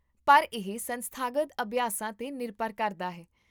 ਪਰ, ਇਹ ਸੰਸਥਾਗਤ ਅਭਿਆਸਾਂ 'ਤੇ ਨਿਰਭਰ ਕਰਦਾ ਹੈ